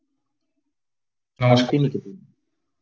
Santiniketan